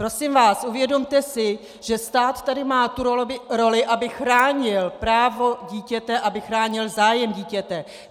Prosím vás, uvědomte si, že stát tady má tu roli, aby chránil právo dítěte, aby chránil zájem dítěte.